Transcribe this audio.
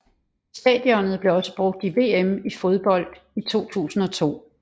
Stadionet blev også brugt i VM i fodbold 2002